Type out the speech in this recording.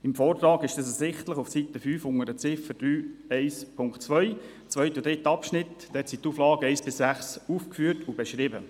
Im Vortrag werden auf Seite 5, Ziffer 3.1.2, im zweiten und dritten Abschnitt die Auflagen 1–6 aufgeführt und beschrieben.